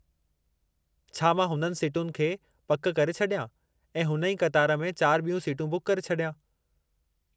छा मां हुननि सिटुनि खे पकि करे छॾियां ऐं हुन ई क़तार में चार ॿियूं सीटूं बुक करे छॾियां?